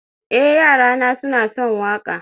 eh, yarana suna son waƙa